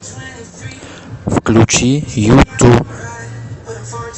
включи юту